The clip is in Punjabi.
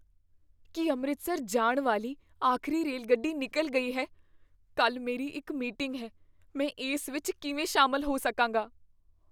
ਕੀ ਅੰਮ੍ਰਿਤਸਰ ਜਾਣ ਵਾਲੀ ਆਖਰੀ ਰੇਲਗੱਡੀ ਨਿੱਕਲ ਗਈ ਹੈ? ਕੱਲ੍ਹ ਮੇਰੀ ਇੱਕ ਮੀਟਿੰਗ ਹੈ, ਮੈਂ ਇਸ ਵਿੱਚ ਕਿਵੇਂ ਸ਼ਾਮਲ ਹੋ ਸਕਾਂਗਾ?